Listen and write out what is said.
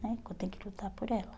né que eu tenho que lutar por ela.